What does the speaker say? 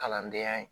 Kalandenya